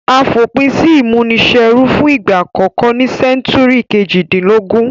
A fòpin si ìmúniserú fun ìgbà àkókó ní century kejìdínlógún